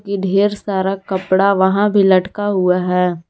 ढेर सारा कपड़ा वहां भी लटका हुआ है।